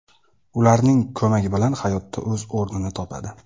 ularning ko‘magi bilan hayotda o‘z o‘rnini topadi.